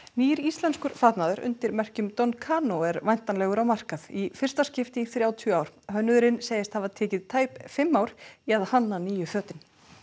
nýr íslenskur fatnaður undir merkjum don Cano er væntanlegur á markað í fyrsta skipti í þrjátíu ár hönnuðurinn segist hafa tekið tæp fimm ár í að hanna nýju fötin